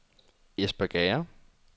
Espergærde